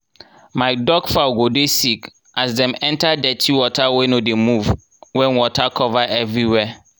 my duck fowl go dey sick as dem enter dirty water wey no dey move wen water cover everywhere